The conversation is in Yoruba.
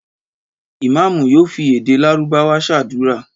Ìmáámù yóò fi èdè Lárúbáwá ṣàdúrà.